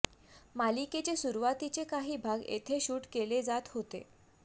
मालिकेचे सुरुवातीचे काही भाग येथे शूट केले जात होते